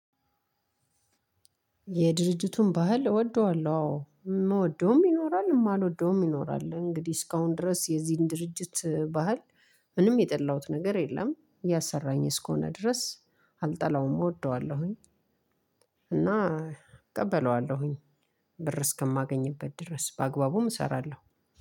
የድርጅቱን ባህል እወደዋለሁ አዎ የምወደውም ይኖራል የማልወደውም ይኖራል እንግዲህ እስካሁን ድረስ የዚህን ድርጅት ባህል ምንም የጠላሁት ነገር የለም እያሰራኝ እስከሆነ ድረስ አልጠላውም እወደዋለሁኝ። እና እቀበለዋለሁኝ። ብር እስከማገኝበት ድረስ በአግባቡም እሰራለሁ።